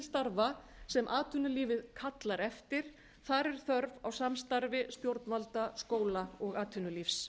starfa sem atvinnulífið kallar eftir þar er þörf á samstarfi stjórnvalda skóla og atvinnulífs